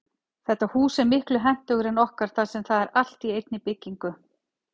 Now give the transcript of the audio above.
Þetta hús er miklu hentugra en okkar þar sem það er allt í einni byggingu.